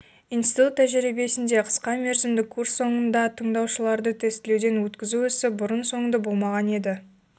институт тәжірибесінде қысқамерзімді курс соңында тыңдаушыларды тестілеуден өткізу ісі бұрын-соңды болмаған еді